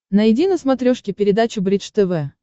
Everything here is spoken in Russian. найди на смотрешке передачу бридж тв